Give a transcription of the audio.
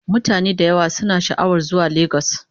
Mutane da yawa suna sha'awar zuwa Legas